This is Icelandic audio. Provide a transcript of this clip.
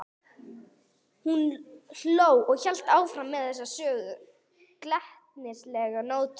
Hún hló og hélt áfram á þessum sömu glettnislegu nótum.